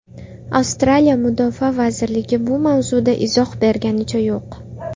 Avstraliya mudofaa vazirligi bu mavzuda izoh berganicha yo‘q.